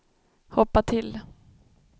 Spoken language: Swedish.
hoppa till